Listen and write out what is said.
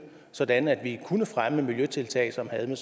sådan at vi kunne fremme miljøtiltag som havde med